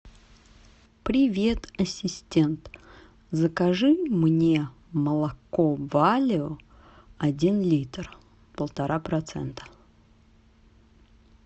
привет ассистент закажи мне молоко валио один литр полтора процента